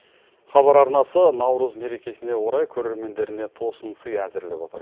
хабар арнасы наурыз мерекесіне орай көрермендеріне тосын сый әзірлеп отыр